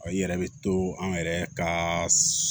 I yɛrɛ bɛ to an yɛrɛ ka